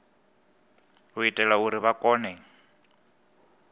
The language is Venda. u itela uri vha kone